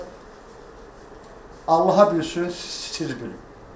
Prosta Allaha bilsin, siz bilin.